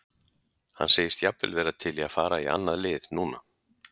Hann segist jafnvel vera til í að fara í annað lið núna.